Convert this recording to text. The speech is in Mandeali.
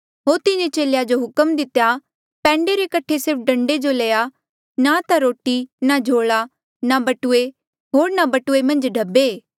होर तिन्हें चेलेया जो हुक्म दितेया पैंडे रे कठे सिर्फ डंडे जो लेया ना ता रोटी ना झोला होर ना बटुऐ मन्झ ढब्बे